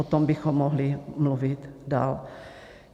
O tom bychom mohli mluvit dál.